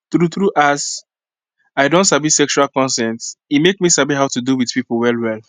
true true as i don sabi sexual consent e make me sabi how to do with people well well